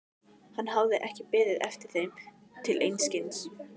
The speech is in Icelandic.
Hann hafði ekki beðið eftir þeim til einskis.